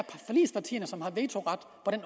forligspartierne som har vetoret i